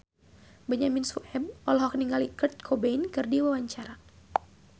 Benyamin Sueb olohok ningali Kurt Cobain keur diwawancara